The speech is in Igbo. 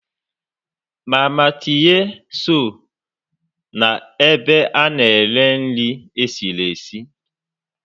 Mama Tinye so na ebe a na-ere nri esiri esi